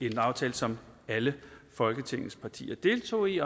en aftale som alle folketingets partier deltog i